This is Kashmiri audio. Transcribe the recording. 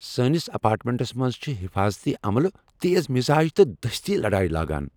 سٲنس اپارٹمنٹس منٛز چھٗ حیفاضتی عملہٕ تیز مِزاج تہٕ دستی لڈٲیہ لاگان ۔